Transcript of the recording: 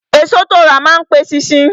Èso tó ti rà má n pe eṣinṣin